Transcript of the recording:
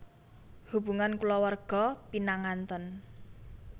Hubungan kulawarga pinanganten